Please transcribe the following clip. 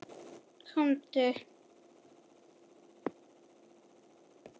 Komdu